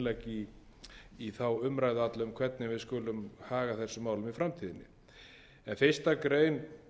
fyrir þetta mál og mikilvægt innlegg í þá umræðu alla um hvernig við skulum haga þessum málum í framtíðinni fyrstu grein